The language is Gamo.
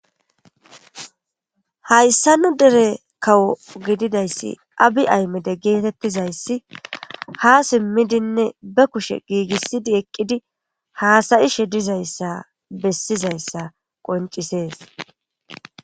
hayssa nu dere kawo gididayssi abi aymede geetettizayssi ha simmidinne be kushe giigissidi eqqidi haasayishe dizayssa bessizayssa qoncisees